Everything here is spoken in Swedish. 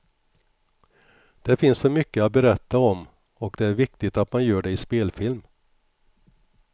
Det finns så mycket att berätta om och det är viktigt att man gör det i spelfilm.